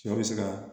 Sɔ bɛ se ka